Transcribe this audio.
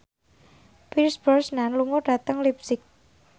Pierce Brosnan lunga dhateng leipzig